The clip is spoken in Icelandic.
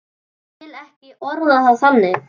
Ég vil ekki orða það þannig.